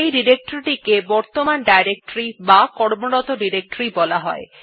সেই ডিরেক্টরী টিকে বর্তমান ডিরেক্টরী অথবা কর্মরত ডিরেক্টরী বলা হয়